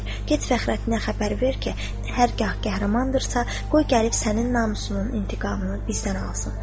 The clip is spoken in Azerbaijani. Get Fəxrəddinə xəbər ver ki, hər hal qəhrəmandırsa, qoy gəlib sənin namusunun intiqamını bizdən alsın.